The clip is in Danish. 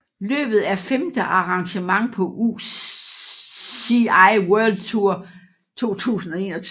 Løbet er femte arrangement på UCI World Tour 2021